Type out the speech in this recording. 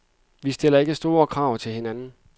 Vi stiller ikke så store krav til hinanden.